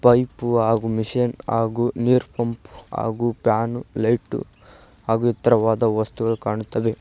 Pipe ಹಾಗು machine ಹಾಗು ನೀರ್ ಪಂಪ್ ಹಾಗೂ ಫ್ಯಾನು ಲೈಟು ಹಾಗು ಇತ್ರವಾದ ವಸ್ತುಗಳು ಕಾಣುತ್ತವೆ.